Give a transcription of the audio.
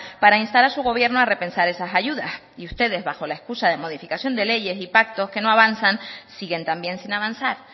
para instar a su gobierno a repensar esas ayudas y ustedes bajo la excusa de modificación de leyes y pactos que no avanzan siguen también sin avanzar